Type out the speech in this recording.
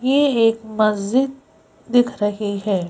ये एक मस्जिद दिख रही है।